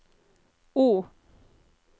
O